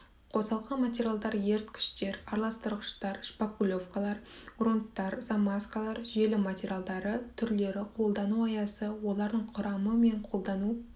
қосалқы материалдар еріткіштер араластырғыштар шпатлевкалар грунттар замазкалар желім материалдары түрлері қолдану аясы олардың құрамы мен қолдану